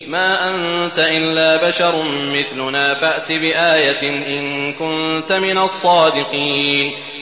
مَا أَنتَ إِلَّا بَشَرٌ مِّثْلُنَا فَأْتِ بِآيَةٍ إِن كُنتَ مِنَ الصَّادِقِينَ